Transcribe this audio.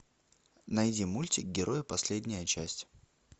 найди мультик герои последняя часть